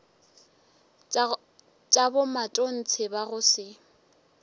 tša bomatontshe ba go se